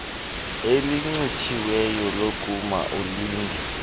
elincitshisiweyo lokuma ulinde